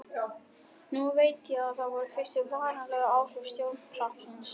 Núna veit ég að það voru fyrstu varanlegu áhrif stjörnuhrapsins.